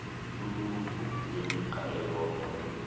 luluhlu lwemigca eyodwa